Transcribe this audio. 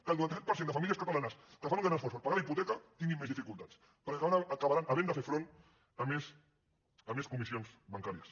que el noranta set per cent de famílies catalanes que fan un gran esforç per pagar la hipoteca tinguin més dificultats perquè acabaran havent de fer front a més comissions bancàries